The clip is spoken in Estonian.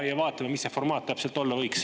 Vaatame, mis see formaat täpselt olla võiks.